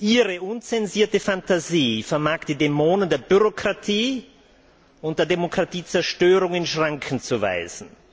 Ihre unzensierte Fantasie vermag die Dämonen der Bürokratie und der Demokratiezerstörung in Schranken zu weisen.